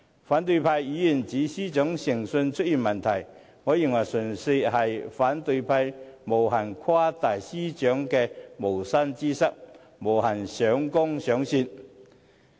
反對派議員指司長誠信出現問題，我認為純粹是反對派無限誇大司長的無心之失，無限上綱上線。